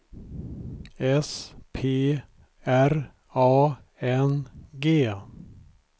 S P R A N G